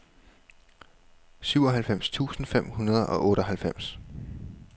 syvoghalvfems tusind fem hundrede og otteoghalvfems